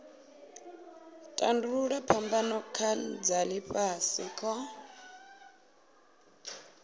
tandululwa phambano dza ifhasi kha